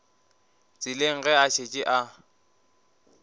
tseleng ge a šetše a